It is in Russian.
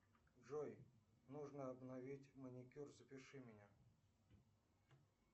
джой нужно обновить маникюр запиши меня